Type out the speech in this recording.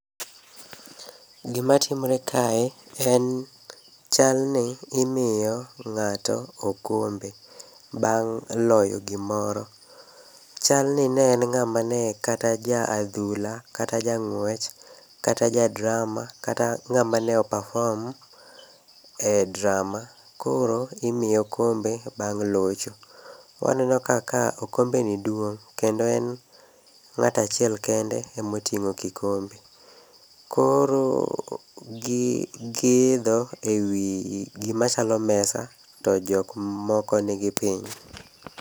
Gima timore kae, en chalni imiyo ng'ato okombe bang' loyo gimoro. Chalni ne en ng'ama ne kata ja adhula, kata ja ng'wech, kata ja drama, kata ng'ama ne o perform e drama, koro imiye okombe bang' locho. Waneno kaka okombeni duong' kendo kendo en ng'ato achiel kende ema oting'o kikombe. Koro gi giidho ewi gii gima chalo mesa, to jok moko nigi piny.